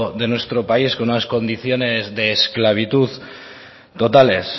de nuestro país con unas condiciones de esclavitud totales